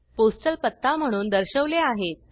postal पत्ता म्हणून दर्शवले आहेत